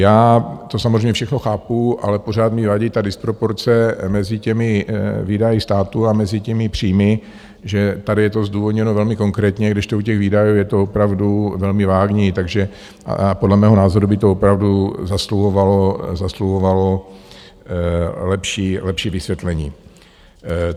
Já to samozřejmě všechno chápu, ale pořád mi vadí ta disproporce mezi těmi výdaji státu a mezi těmi příjmy, že tady je to zdůvodněno velmi konkrétně, kdežto u těch výdajů je to opravdu velmi vágní, takže podle mého názoru by to opravdu zasluhovalo lepší vysvětlení.